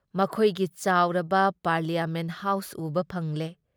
ꯃꯈꯣꯏꯒꯤ ꯆꯥꯎꯔꯕ parliament house ꯎꯕ ꯐꯪꯂꯦ ꯫